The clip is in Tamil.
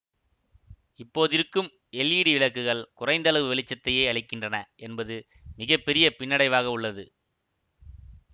இப்போதிருக்கும் எல்ஈடி விளக்குகள் குறைந்தளவு வெளிச்சத்தையே அளிக்கின்றன என்பது மிக பெரிய பின்னடைவாக உள்ளது